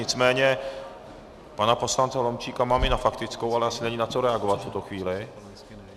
Nicméně pana poslance Holomčíka mám i na faktickou, ale asi není na co reagovat v tuto chvíli.